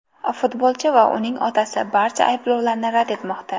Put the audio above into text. Futbolchi va uning otasi barcha ayblovlarni rad etmoqda.